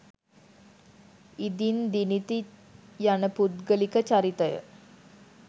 ඉදින් දිනිති යන පුද්ගලික චරිතය